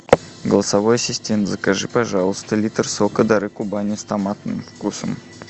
голосовой ассистент закажи пожалуйста литр сока дары кубани с томатным вкусом